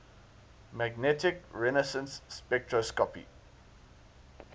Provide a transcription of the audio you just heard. magnetic resonance spectroscopy